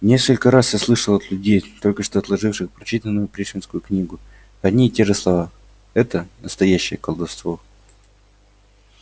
несколько раз я слышал от людей только что отложивших прочитанную пришвинскую книгу одни и те же слова это настоящее колдовство